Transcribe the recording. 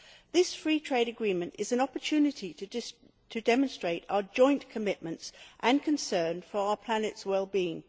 This free trade agreement is an opportunity to demonstrate our joint commitments and concern for our planet's wellbeing.